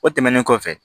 O tɛmɛnen kɔfɛ